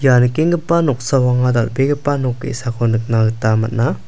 ia nikenggipa noksao anga dal·begipa nok ge·sako nikna gita man·a.